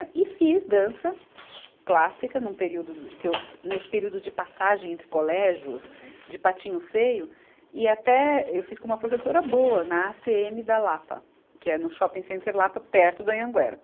E fiz dança clássica num período que eu, nesse período de passagem entre colégios, de patinho feio, e até eu fiz com uma professora boa na Acêeme da Lapa, que é no Shopping Center Lapa, perto do Anhanguera.